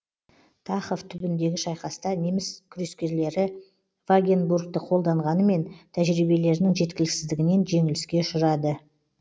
тахов түбіндегі шайқаста неміс крескерлері вагенбургті қолданғанымен тәжиберінің жеткіліксіздігінен жеңіліске ұшырады